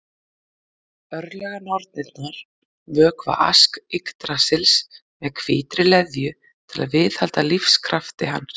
Örlaganornirnar vökva Ask Yggdrasils með hvítri leðju til að viðhalda lífskrafti hans.